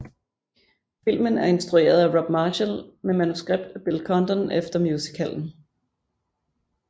Filmen er instrueret af Rob Marshall med manuskript af Bill Condon efter musicalen